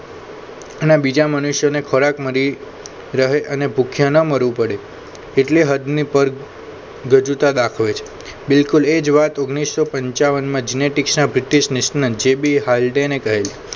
અને બીજા મનુષ્યને ખોરાક મળી રહે અને ભૂખ્યા ન મળવું પડે એટલે હદની પર ગજુતા દાખવે છે બિલકુલ એ જ વાત ઓગ્નીશો પન્ચ્યાવાન માં જિનેટિક્સ ના British national J B Haldane ને કહેલ